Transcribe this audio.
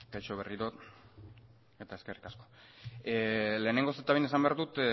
kaixo berriro ere eta eskerrik asko lehenengo eta behin esan behar dut